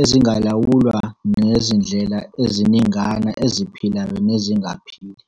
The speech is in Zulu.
ezingalawulwa ngezindlela eziningana eziphilayo nezingaphili.